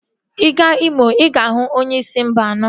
Ị gaa Imo, ị ga-ahụ onye si Mba anọ